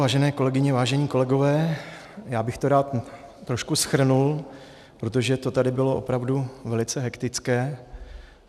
Vážené kolegyně, vážení kolegové, já bych to rád trošku shrnul, protože to tady bylo opravdu velice hektické.